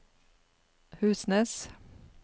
Husnes